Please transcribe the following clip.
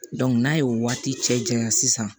n'a ye o waati cɛ janya sisan